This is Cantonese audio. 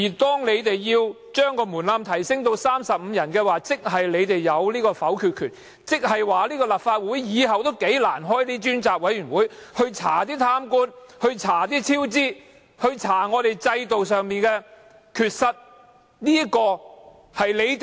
把呈請書門檻提升至35人，意味你們擁有否決權，立法會日後將難以成立專責委員會調查貪官、超支和制度上的缺失。